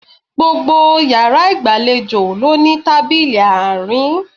Gbogbo yàrá ìgbàlejò ló ní tábìlì àárín